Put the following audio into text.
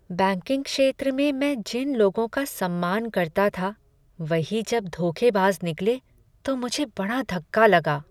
Banking क्षेत्र में मैं जिन लोगों का सम्मान करता था वही जब धोखेबाज निकले तो मुझे बड़ा धक्का लगा।